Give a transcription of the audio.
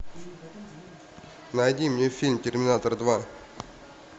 найди мне фильм терминатор два